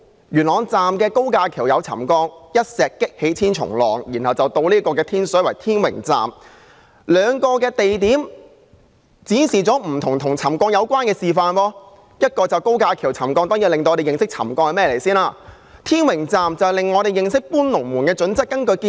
元朗站的高架橋出現沉降，一石激起千重浪，接着是天水圍天榮站，兩個地點展示了有關沉降的不同問題，元朗的高架橋沉降，讓我們認識沉降是甚麼，而天榮站則讓我們認識"搬龍門"的準則。